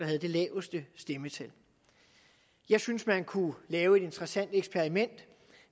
havde det laveste stemmetal jeg synes man kunne lave et interessant eksperiment